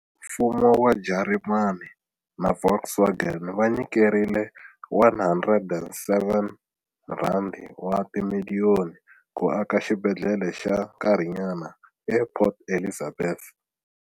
Mfumo wa Jarimani na Volkswagen va nyikerile R107 wa timiliyoni ku aka xibedhlele xa nkarhinyana ePort Elizabeth.